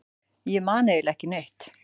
Ég man eiginlega ekki neitt.